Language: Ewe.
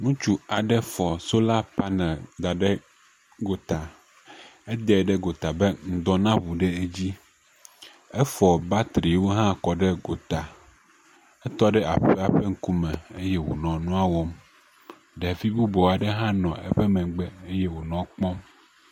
Ŋutsu aɖe fɔ sola paneli da ɖe gota. Edae ɖe gota be ŋdɔ na ŋu ɖe dzi. Efɔ batriwo hã kɔ ɖe gota. Etɔ ɖe aƒea ƒe ŋkume ye wònɔ nua wɔm. Ɖevi bubu aɖe hã nɔ eƒe megbe eye wònɔ kpɔm.